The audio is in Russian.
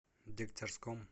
дегтярском